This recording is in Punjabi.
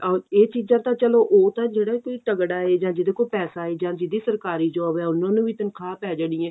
ਅਹ ਇਹ ਚੀਜ਼ਾਂ ਤਾਂ ਚੱਲੋ ਉਹ ਤਾਂ ਜਿਹੜਾ ਕੀ ਤਗੜਾ ਏ ਜਾਂ ਜਿਹਦੇ ਕੋਲ ਪੈਸਾ ਏ ਜਾਂ ਜਿਹਦੀ ਸਰਕਾਰੀ job ਹੈ ਉਹਨਾ ਨੂੰ ਵੀ ਤਨਖਾਹ ਪੈ ਜਾਣੀ ਏ